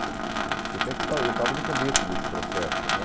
setenta eu estava, eu estava no começo desse processo, né?